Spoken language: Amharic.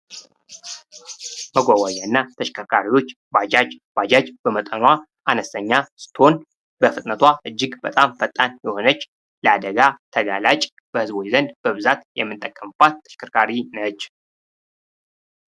መጓጓዣ እና ተሽከርካሪዎች ባጃጅ ባጃጅ በመጠኗ አነስተኛ ስትሆን ፤ በፍጥነቷ እጅግ በጣም ፈጣን የሆነች፤ ለአደጋ ተጋላጭ ፤በህዝቦች ዘንድ በብዛት የምንጠቀምበት ተሽከርካሪ ነች።